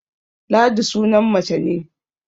Ladi sunan mace ne